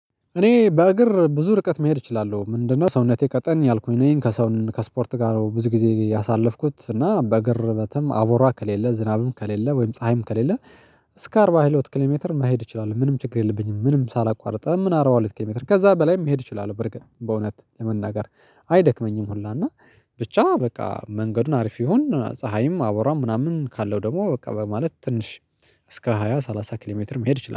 እኔ በእግር ብዙ ርቀት መሄድ እችላለሁ። ምንድነው ሰውነቴ ቀጠን ያልኩኝ ነው ከሰውን ከስፖርት ጋር ብዙ ጊዜ ያሳለፍኩት እና በግርበትም አቦራ ከሌለ ዝናብም ከሌለ ወይም ፀሀይም ከሌለ። እስከ አርባ ሂሎት ኪሌሜትር መሄድ እችላለሁ ምንም ችግር የለብኝም። ምንም ሳላቋርጥ ምን አረባ ሁለት ኪሎ ሜትር ከዛ በላይም መሄድ እችላለሁ። በርግጥ በእውነት ለመናገር አይ ሁላ እና ብቻ በቃ መንገዱን አሪፍ ይሁን ፀሀይም አወራም ምናምን ካለው ደግሞ በቃ በማለት ትንሽ። እስከ ሃያ ሰላሳ ኪሎ ሜትር መሄድ ይችላል